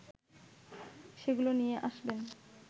সেগুলো নিয়ে আসবেন